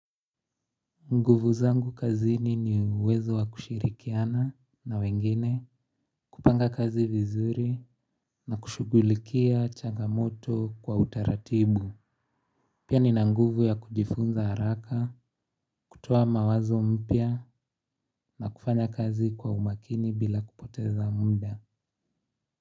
Nguvu zangu kazini ni uwezo wa kushirikiana na wengine kupanga kazi vizuri na kushugulikia changamoto kwa utaratibu. Pia nina nguvu ya kujifunza haraka kutoa mawazo mpya na kufanya kazi kwa umakini bila kupoteza muda.